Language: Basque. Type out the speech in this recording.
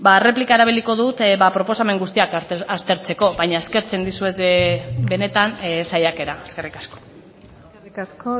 erreplika erabiliko dut proposamen guztiak aztertzeko baina ezkertzen dizuet benetan saiakera eskerrik asko eskerrik asko